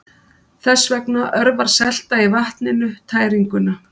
Þess vegna örvar selta í vatninu tæringuna.